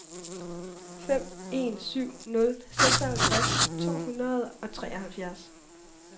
fem en syv nul seksoghalvtreds to hundrede og treoghalvfjerds